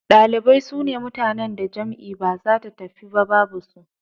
Ɗalibai sune mutanen da jam'i ba zata tafiyu ba babu su.